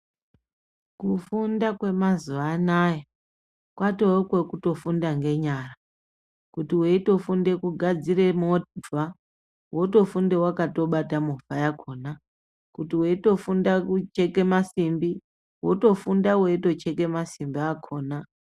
Kufunda kwemazuwa anaya, kwatowe kwekuto funda ngenyara. Kuti weito funde kugadzire movha, woto funda wakato bata movha yakhona. Kuti weito funda kucheke masimbi, wotofunda weito cheke masimbi akhona.